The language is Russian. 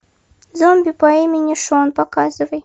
зомби по имени шон показывай